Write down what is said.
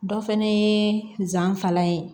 Dɔ fana ye nsanfalan ye